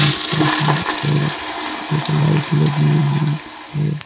आसपास में और एक लाइट लगी हुई है।